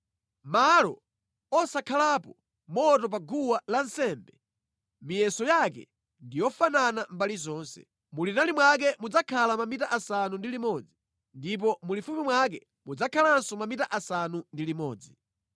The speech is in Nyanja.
Malo osankhalapo moto pa guwa lansembe miyeso yake ndi yofanana mbali zonse. Mulitali mwake mudzakhala mamita asanu ndi limodzi ndipo mulifupi mwake mudzakhalanso mamita asanu ndi limodzi.